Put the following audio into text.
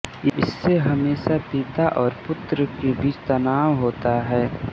इससे हमेशा पिता और पुत्र के बीच तनाव होता है